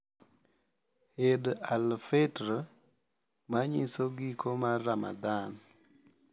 Eid al-Fitr, manyiso giko mar Ramadhan,